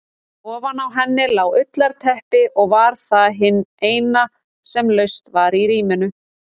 Ofan á henni lá ullarteppi og var það hið eina sem laust var í rýminu.